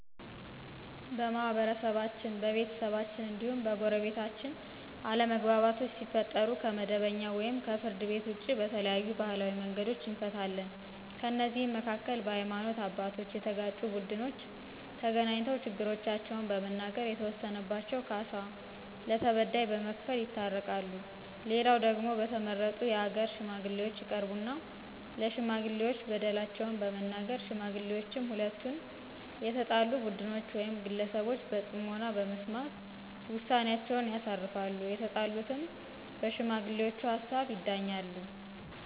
በማህበረሰባችን፣ በቤተሰባችን እንዲሁም በጎረቤታችን አለመግባባቶች ሲፈጠሩ ከመደበኛው ወይም ከፍርድ ቤት ውጭ በተለያዩ ባህላዊ መንገዶች እንፈታለን። ከእነዚህም መካከል በሀይማኖት አባቶች የተጋጩት ቡድኖች ተገናኝተው ችግሮቻቸውን በመናገር የተወሰነባቸውን ካሳ ለተበዳይ በመክፈል ይታረቃሉ፣ ሌላው ደግሞ በተመረጡ የሀገር ሽማግሌዎች ይቀርቡና ለሽማጥሌዎች በደላቸውን በመናገር ሽማግሌዎችም ሁለቱንም የተጣሉ ቡድኖች ውይም ግለሰቦች በጽሞና በመስማት ውሳኔአቸውን ያሳርፋሉ፤ የተጣሉትም በሽማግሌውቹ ሀሳብ ይዳኛሉ።